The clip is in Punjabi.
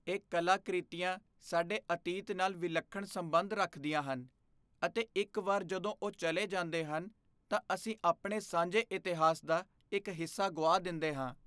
ਇਹ ਕਲਾਕ੍ਰਿਤੀਆਂ ਸਾਡੇ ਅਤੀਤ ਨਾਲ ਵਿਲੱਖਣ ਸੰਬੰਧ ਰੱਖਦੀਆਂ ਹਨ, ਅਤੇ ਇੱਕ ਵਾਰ ਜਦੋਂ ਉਹ ਚਲੇ ਜਾਂਦੇ ਹਨ, ਤਾਂ ਅਸੀਂ ਆਪਣੇ ਸਾਂਝੇ ਇਤਿਹਾਸ ਦਾ ਇੱਕ ਹਿੱਸਾ ਗੁਆ ਦਿੰਦੇ ਹਾਂ।